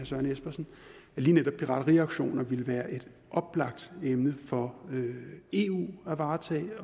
søren espersen at lige netop pirateriaktioner ville være et oplagt emne for eu at varetage det